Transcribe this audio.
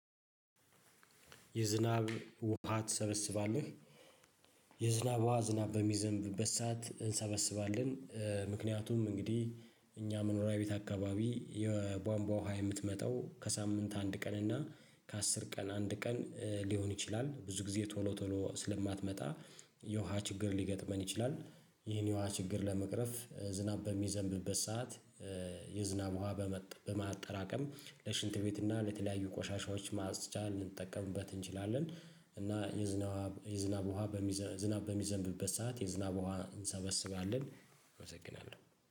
የዝናብ ውሃ ትሰበስባለህ? የዝናብ ውሃ ዝናብ በሚዘንብ ሰዓት እንሰበስባለን ምክንያቱም እንግዲህ እኛ መኖሪያ ቤት አካባቢ የቧንቧ ውሃ የምትመጣው ከሳምንት አንድ ቀን እና ከአስር ቀን አንድ ቀን ሊሆን ይችላል ብዙ ጊዜ ቶሎ ቶሎ ስለማትመጣ የውሃ ችግር ሊገጥመን ይችላል። ይሄን የውሃ ችግር ለመቅረፍ ዝናብ በሚዘንብበት ሰዓት የዝናብ ውሃ በማጠራቀም ለሽንት ቤት እና ለተለያዩ ቆሻሻዎች ማጽጃ ልንጠቀምበት እንችላለን። እና የዝናብ የዝናብ ውሃ ዝናብ በሚዘንብበት ሰዓት የዝናብ ውሃ እንሰበስባለን። እመሰግናለሁ